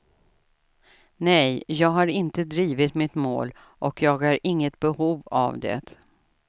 Nej, jag har inte drivit mitt mål och jag har inget behov av det.